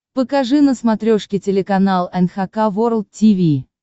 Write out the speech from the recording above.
покажи на смотрешке телеканал эн эйч кей волд ти ви